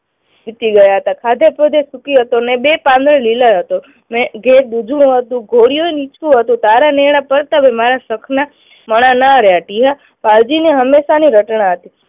સુખી રહ્યા હતા. ખાધેસુધે સુખી હતો ને બેય પાંદડે લીલા હતો. ને જે બીજું હતું નીચું હતું તારા નેણા પ્રતાપે મારા માણહ ના રહ્યા. ટીહા, વાલજીની હંમેશાની રચના હતી